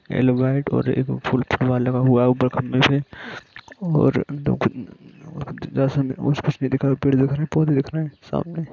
एक वाइट और एक लगा हुआ है उपर खम्बे से और पेड़ दिख रहे हैं सामने--